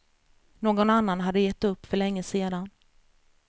Någon annan hade gett upp för länge sedan.